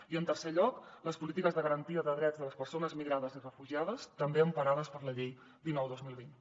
i en tercer lloc les polítiques de garantia de drets de les persones migrades i refugiades també emparades per la llei dinou dos mil vint